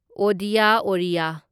Odia ꯑꯣꯔꯤꯌꯥ